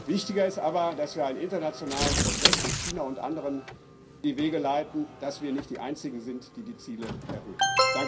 Wichtiger ist aber, dass wir einen internationalen Prozess mit China und anderen in die Wege leiten, dass wir nicht die einzigen sind, die die Ziele erhöhen.